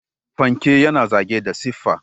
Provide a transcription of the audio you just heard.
Fanke yana zagaye da siffa.